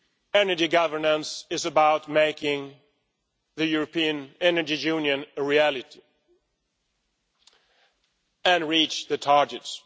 Second, energy governance is about making the European energy union a reality and reaching the targets.